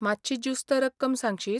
मातशी जुस्त रक्कम सांगशीत?